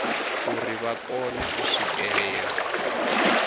uri vha kone u swikelela